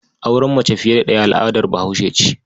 Auren mace fiye da ɗaya al'adar Bahaushe ce.